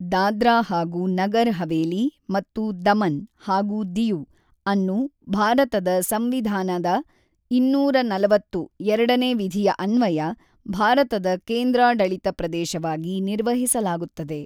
ದಾದ್ರಾ ಹಾಗೂ ನಗರ್ ಹವೇಲಿ ಮತ್ತು ದಮನ್ ಹಾಗೂ ದಿಯು ಅನ್ನು ಭಾರತದ ಸಂವಿಧಾನದ ಇನ್ನೂರ ನಲವತ್ತು(ಎರಡ)ನೇ ವಿಧಿಯ ಅನ್ವಯ ಭಾರತದ ಕೇಂದ್ರಾಡಳಿತ ಪ್ರದೇಶವಾಗಿ ನಿರ್ವಹಿಸಲಾಗುತ್ತದೆ.